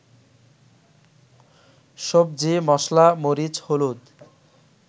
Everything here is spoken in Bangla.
সবজি, মসলা, মরিচ, হলুদ